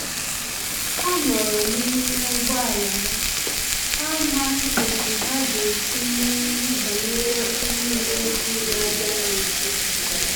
Ha nọrọ n’ime ụgbọala ha, ha amaghị otú ha ga-esi mee ihe banyere onye uweojii na-abia ha nso